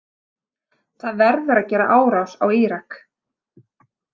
Það verður að gera árás á Írak.